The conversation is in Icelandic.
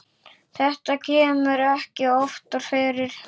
Þetta kemur ekki oftar fyrir.